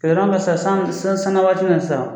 san sanna waati min na sisan